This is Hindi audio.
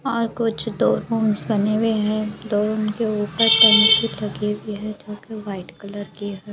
और कुछ दो रूम्स बने हुवे हैदो रूम के उपर टंकी लगी हुइ है जोकि वाइट कलर की है।